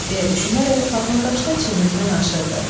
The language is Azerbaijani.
deyə düşünərək patron daşını çiynindən aşırdı.